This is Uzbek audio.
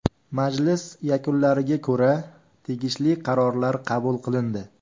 Majlis yakunlariga ko‘ra tegishli qarorlar qabul qilindi.